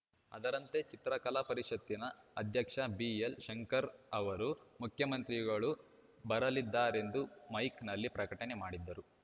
ಅದರಂತೆ ಚಿತ್ರಕಲಾ ಪರಿಷತ್ತಿನ ಅಧ್ಯಕ್ಷ ಬಿಎಲ್‌ಶಂಕರ್‌ ಅವರು ಮುಖ್ಯಮಂತ್ರಿಗಳು ಬರಲಿದ್ದಾರೆಂದು ಮೈಕ್‌ನಲ್ಲಿ ಪ್ರಕಟಣೆ ಮಾಡಿದ್ದರು